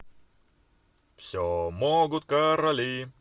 все могут короли